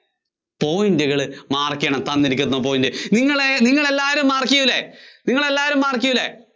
point കള് mark ചെയ്യണം. തന്നിരിക്കുന്ന point. നിങ്ങളെ, നിങ്ങളെല്ലാരും mark ചെയ്യില്ലെ? നിങ്ങളെല്ലാരും mark ചെയ്യില്ലെ?